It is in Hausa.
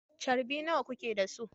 Charbi nawa kuke da su?